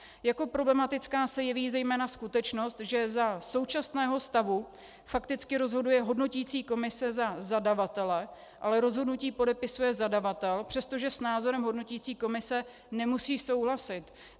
Jako problematická se jeví zejména skutečnost, že za současného stavu fakticky rozhoduje hodnoticí komise za zadavatele, ale rozhodnutí podepisuje zadavatel, přestože s názorem hodnoticí komise nemusí souhlasit.